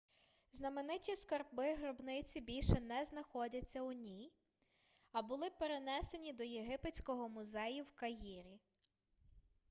знамениті скарби гробниці більше не знаходяться у ній а були перенесені до єгипетського музею в каїрі